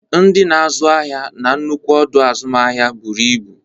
Ndị na-azụ ahịa na nnukwu ọdọ azụmahịa buru ibu.